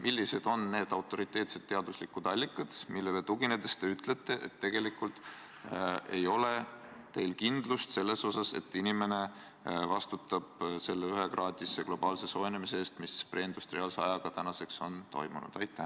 Millised on need autoriteetsed teaduslikud allikad, millele tuginedes te ütlete, et tegelikult ei ole teil kindlust selles, et inimene vastutab selle ühekraadise globaalse soojenemise eest, mis preindustriaalse ajaga võrreldes tänaseks on toimunud?